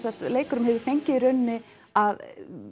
leikurum hefur fengið í rauninni að